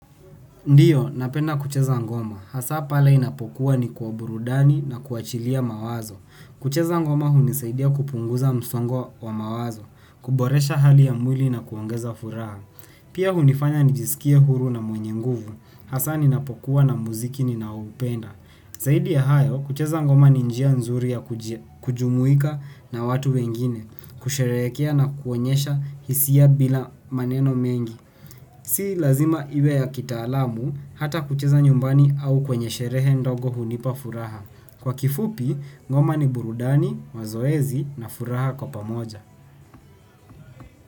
Ndio napenda kucheza ngoma hasa pale inapokuwa ni kwa burudani na kuachilia mawazo. Kucheza ngoma hunisaidia kupunguza msongo wa mawazo, kuboresha hali ya mwili na kuongeza furaha. Pia hunifanya nijisikie huru na mwenye nguvu. Hasa ninapokuwa na mziki ninaoupenda. Zaidi ya hayo, kucheza ngoma ni njia nzuri ya kujumuika na watu wengine, kusherehekea na kuonyesha hisia bila maneno mengi. Si lazima iwe ya kitaalamu, hata kucheza nyumbani au kwenye sherehe ndogo hunipa furaha. Kwa kifupi, ngoma ni burudani, mazoezi na furaha kwa pamoja.